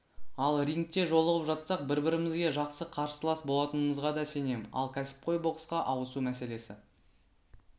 ал рингте жолығып жатсақ бір-бірімізге жақсы қарсылас болатынымызға да сенем ал кәсіпқой боксқа ауысу мәселесі